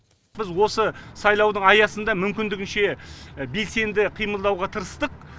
біз осы сайлаудың аясында мүмкіндігінше белсенді қимылдауға тырыстық